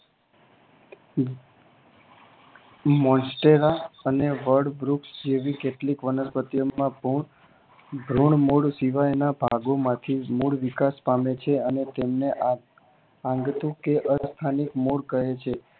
Monstella અને વડવૃક્ષ જેવી કેટલીક વનસ્પતિ ઓ માં ધ્રૂણ મૂળ શીવાયના ભાગોમાંથી મૂળ વિકાસ પામે છે અને તેમને આંગતુ કે અસ્થાની મૂળ કહે છે